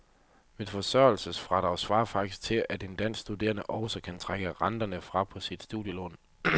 Mit forsørgelsesfradrag svarer faktisk til, at en dansk studerende også kan trække renterne fra på sit studielån.